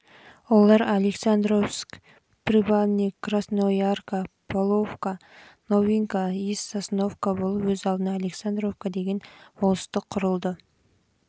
олар александровск привальный красноярка поповка новинка және сосновка болып өз алдына александровка деген болыстық құрылды